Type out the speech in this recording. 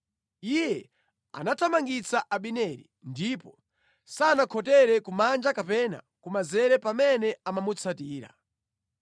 Iye anathamangitsa Abineri ndipo sanakhotere kumanja kapena kumanzere pamene amamutsatira.